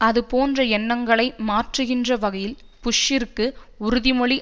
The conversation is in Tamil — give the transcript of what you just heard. அதுபோன்ற எண்ணங்களை மாற்றுகின்ற வகையில் புஷ்ஷிற்கு உறுதிமொழி